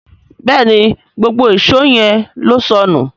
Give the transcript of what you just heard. Béèni gbógbó Èṣó yén ló sọnù.